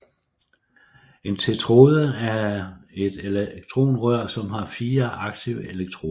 En tetrode er et elektronrør som har fire aktive elektroder